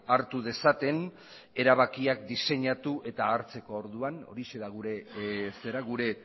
hartu dezaten erabakiak diseinatu eta hartzeko orduan horixe da gure